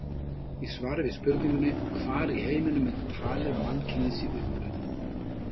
Í svari við spurningunni: Hvar í heiminum er talið að mannkynið sé upprunnið?